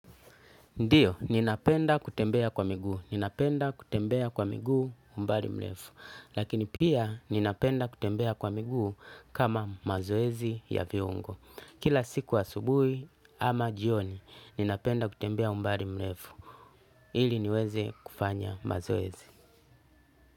Ndiyo, ninapenda kutembea kwa miguu. Ninapenda kutembea kwa miguu umbali mrefu. Lakini pia ninapenda kutembea kwa miguu kama mazoezi ya viungo. Kila siku asubuhi ama jioni, ninapenda kutembea umbali mrefu. Ili niweze kufanya mazoezi.